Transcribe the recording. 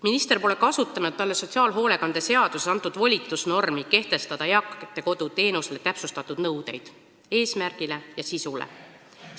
Minister pole kasutanud talle sotsiaalhoolekande seaduses antud volitusnormi kehtestada eakate kodu teenuse eesmärgile ja sisule täpsustatud nõuded.